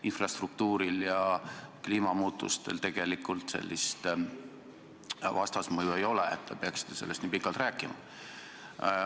Infrastruktuuril ja kliimamuutustel tegelikult sellist vastasmõju ei ole, et te peaksite sellest nii pikalt rääkima.